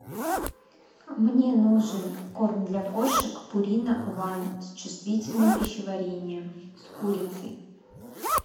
мне нужен корм для кошек пурина ван с чувствительным пищеварением с курицей